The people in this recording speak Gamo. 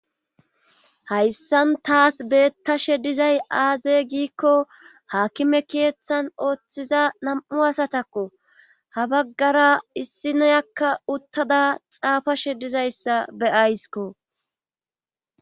hayssan tasi bettashe dizay aaze giikko haakime keeththan ooththiza nam7u asatakko ha baggara issi neyakka uttada xaafashe dizayssa be7ayskko.